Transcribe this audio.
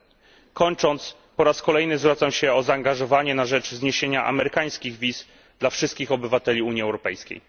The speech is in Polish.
Na koniec po raz kolejny zwracam się o zaangażowanie na rzecz zniesienia amerykańskich wiz dla wszystkich obywateli Unii Europejskiej.